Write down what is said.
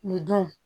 Nin dun